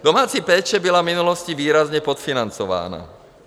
Domácí péče byla v minulosti výrazně podfinancována.